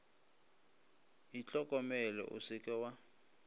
itlhokomele o se ke wa